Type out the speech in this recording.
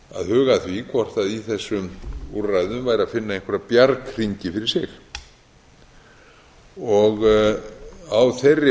huga að því hvort í þessum úrræðum væri að finna einhverja bjarghringi fyrir sig á þeirri